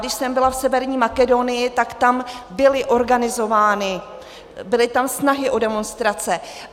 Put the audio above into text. Když jsem byla v Severní Makedonii, tak tam byly organizovány, byly tam snahy o demonstrace.